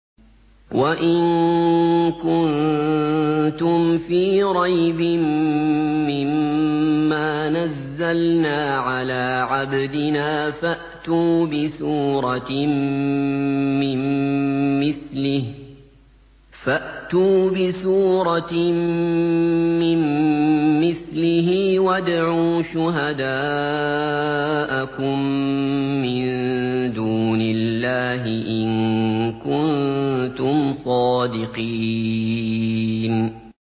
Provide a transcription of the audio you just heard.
وَإِن كُنتُمْ فِي رَيْبٍ مِّمَّا نَزَّلْنَا عَلَىٰ عَبْدِنَا فَأْتُوا بِسُورَةٍ مِّن مِّثْلِهِ وَادْعُوا شُهَدَاءَكُم مِّن دُونِ اللَّهِ إِن كُنتُمْ صَادِقِينَ